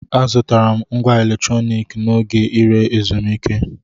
Azụtara m ngwá electronic m n'oge ire ezumike.